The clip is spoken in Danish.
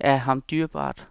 er ham dyrebart.